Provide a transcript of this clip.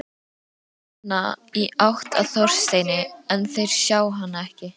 Nonna, í átt að Þorsteini, en þeir sjá hana ekki.